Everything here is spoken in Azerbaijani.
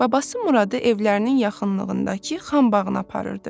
Babası Muradı evlərinin yaxınlığındakı Xan bağına aparırdı.